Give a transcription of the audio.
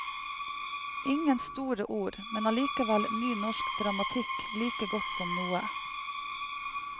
Ingen store ord, men allikevel ny norsk dramatikk like godt som noe.